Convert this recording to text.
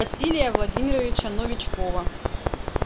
василия владимировича новичкова